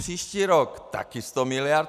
Příští rok také 100 miliard.